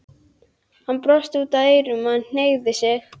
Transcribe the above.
Hann brosti út að eyrum og hneigði sig.